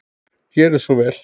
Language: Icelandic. Gerið svo vel.